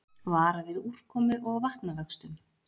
Vara við úrkomu og vatnavöxtum